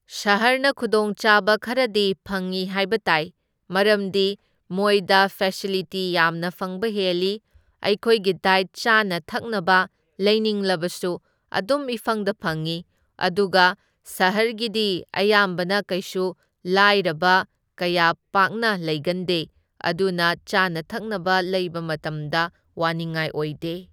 ꯁꯍꯔꯅ ꯈꯨꯗꯣꯡ ꯆꯥꯕ ꯈꯔꯗꯤ ꯐꯪꯢ ꯍꯥꯏꯕ ꯇꯥꯏ, ꯃꯔꯝꯗꯤ ꯃꯣꯏꯗ ꯐꯦꯁꯤꯂꯤꯇꯤ ꯌꯥꯝꯅ ꯐꯪꯕ ꯍꯦꯜꯂꯤ, ꯑꯩꯈꯣꯏꯒꯤ ꯗꯥꯏꯠ ꯆꯥꯅ ꯊꯛꯅꯕ ꯂꯩꯅꯤꯡꯂꯕꯁꯨ ꯑꯗꯨꯝ ꯏꯐꯪꯗ ꯐꯪꯢ ꯑꯗꯨꯒ ꯁꯍꯔꯒꯤꯗꯤ ꯑꯌꯥꯝꯕꯅ ꯀꯩꯁꯨ ꯂꯥꯏꯔꯕ ꯀꯌꯥ ꯄꯥꯛꯅ ꯂꯩꯒꯟꯗꯦ, ꯑꯗꯨꯅ ꯆꯥꯅ ꯊꯛꯅꯕ ꯂꯩꯕ ꯃꯇꯝꯗ ꯋꯥꯅꯤꯡꯉꯥꯏ ꯑꯣꯏꯗꯦ꯫